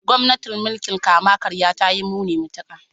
Gwamnatin mulkin kama karya ta yi muni matuka.